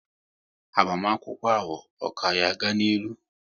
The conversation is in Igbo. Agbamakwụkwọ ahụ, ọ ka yá ga n'ilu?